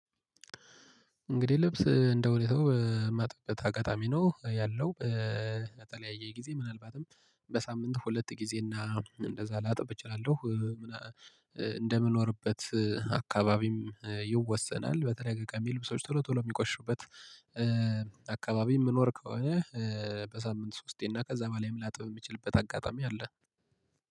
እንግዲህ ልብስ እንደ ሁኔታው ማጥበት አጋጣሚ ነው ያለው በተለያየ ጊዜ ምናልባትም በሳምንቱ ሁለት ጊዜ እና እንደዛ ላጥብ እችላለሁ። እንደምንኖርበት አካባቢም ይወሰናል። በተለያየ ቀሚ ልብሶች ቶሎ ቶሎ የሚቆሽሹበት አካባቢ የምንኖር ከሆነ። በሳምንት ሶስቴና እና ከዛ በላይም ላጥብ የሚችልበት አጋጣሚ አለ።